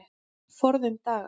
Forðum daga.